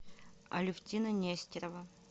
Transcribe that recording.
алевтина нестерова